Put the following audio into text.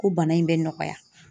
Ko bana in bɛ nɔgɔya